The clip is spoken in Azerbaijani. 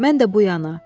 Mən də bu yana.